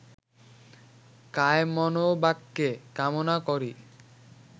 কায়মনোবাক্যে কামনা করি